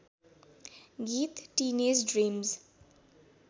गीत teenage dream